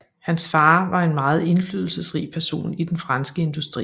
Hans far var en meget indflydelsesrig person i den franske industri